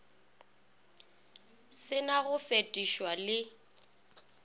se na go fetošwa le